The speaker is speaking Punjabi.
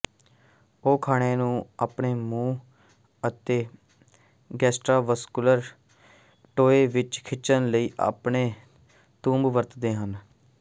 ਉਹ ਖਾਣੇ ਨੂੰ ਆਪਣੇ ਮੂੰਹ ਅਤੇ ਗੈਸਟ੍ਰਾਵਾਸਕੂਲਰ ਟੋਏ ਵਿੱਚ ਖਿੱਚਣ ਲਈ ਆਪਣੇ ਤੰਬੂ ਵਰਤਦੇ ਹਨ